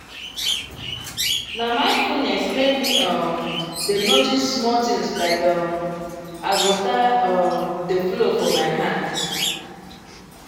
na mindfulness make me um dey notice small things like um as water um dey flow for my hand.